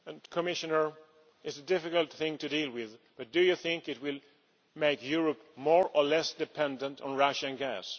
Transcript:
Commissioner, it is a difficult thing to deal with, but do you think it will make Europe more or less dependent on Russian gas?